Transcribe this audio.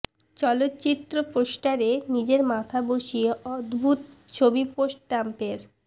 চলচ্চিত্র পোস্টারে নিজের মাথা বসিয়ে অদ্ভুত ছবি পোস্ট ট্রাম্পের